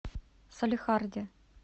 салехарде